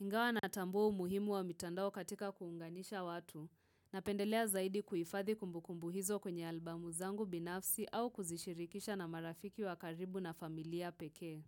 Ingawa natambua umuhimu wa mitandao katika kuunganisha watu, napendelea zaidi kuhifadhi kumbukumbu hizo kwenye albamu zangu binafsi au kuzishirikisha na marafiki wa karibu na familia pekee.